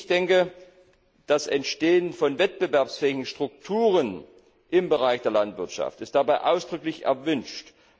Ich denke, das Entstehen von wettbewerbsfähigen Strukturen im Bereich der Landwirtschaft ist dabei ausdrücklich erwünscht.